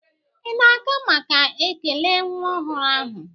Ị na-aga maka ekele nwa ọhụrụ ahụ?